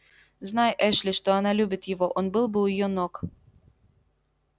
знай эшли что она любит его он был бы у её ног